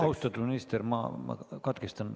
Austatud minister, ma katkestan.